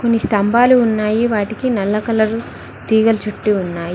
కొన్ని స్తంభాలు ఉన్నాయి వాటికి నల్ల కలర్ తీగల చుట్టీ ఉన్నాయి.